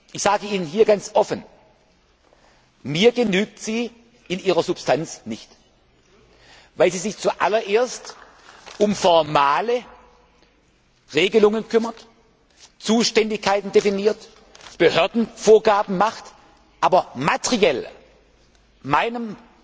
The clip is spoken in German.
Ich sage Ihnen ganz offen Mir genügt sie in ihrer Substanz nicht, weil sie sich zuallererst um formale Regelungen kümmert, Zuständigkeiten definiert, Behördenvorgaben macht, aber materiell